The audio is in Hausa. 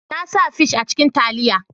Na sa fis a cikin taliya